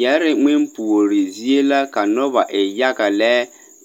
Yԑre ŋmempuori zie la ka noba e yaga lԑ,